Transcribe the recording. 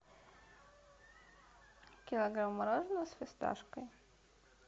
килограмм мороженного с фисташкой